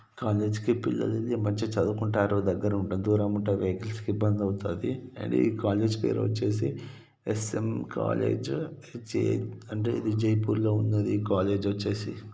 College కి పిల్లలు మంచిగా చదువుకుంటారు. దగ్గర ఉంటుంది. దూరం ఉంటారు. ఇబ్బంది అయితది. అండ్ కాలేజ్ పేరు వచ్చేసి S N . College H A . Jaipur లో ఉన్నది కాలేజ్ .ఈ కాలేజ్ వచ్చేసి.